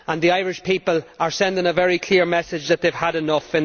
The Irish people are sending a very clear message that they have had enough.